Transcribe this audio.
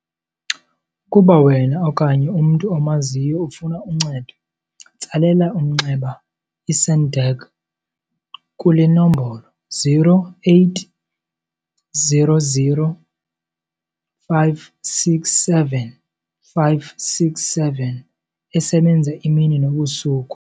Ukuba wena okanye umntu omaziyo ufuna uncedo, tsalela umnxeba i-SADAG kule nombolo-0800 567 567 esebenze imini nobusuku.